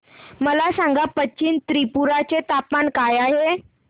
मला सांगा पश्चिम त्रिपुरा चे तापमान काय आहे